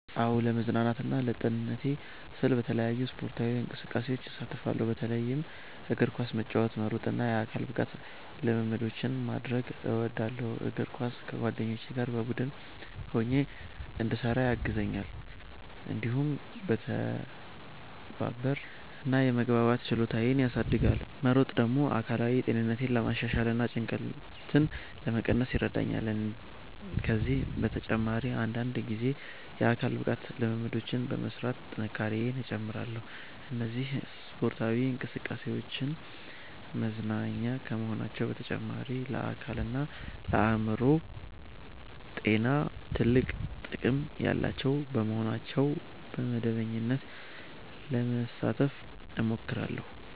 "አዎ፣ ለመዝናናትና ለጤንነቴ ሲባል በተለያዩ ስፖርታዊ እንቅስቃሴዎች እሳተፋለሁ። በተለይም እግር ኳስ መጫወት፣ መሮጥ እና የአካል ብቃት ልምምዶችን ማድረግ እወዳለሁ። እግር ኳስ ከጓደኞቼ ጋር በቡድን ሆኜ እንድሰራ ያግዘኛል፣ እንዲሁም የመተባበር እና የመግባባት ችሎታዬን ያሳድጋል። መሮጥ ደግሞ አካላዊ ጤንነቴን ለማሻሻል እና ጭንቀትን ለመቀነስ ይረዳኛል። ከዚህ በተጨማሪ አንዳንድ ጊዜ የአካል ብቃት ልምምዶችን በመሥራት ጥንካሬዬን እጨምራለሁ። እነዚህ ስፖርታዊ እንቅስቃሴዎች መዝናኛ ከመሆናቸው በተጨማሪ ለአካልና ለአእምሮ ጤና ትልቅ ጥቅም ያላቸው በመሆናቸው በመደበኛነት ለመሳተፍ እሞክራለሁ።"